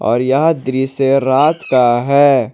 और यह दृश्य रात का है।